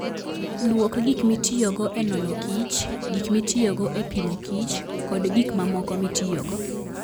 Lwok gik mitiyogo e nono kich, gik mitiyogo e pimo kich, koda gik mamoko mitiyogo.